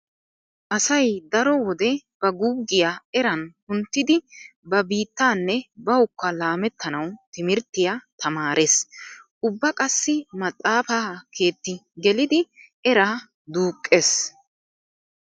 Asay daro wode ba guuggiya eran kunttidi ba biittaanne bawukka laamettanwu timirttiya tamaarees. Ubba qassi maxaafa keetti gelidi eraa duuqqees.